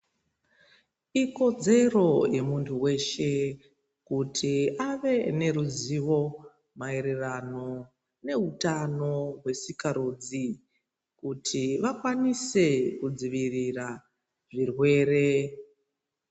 Ikodzero yemuntu weshe, kuti ave neruzivo maererano nehutano hwesikarudzi, kuti vakwanise kudzivirira zvirwere.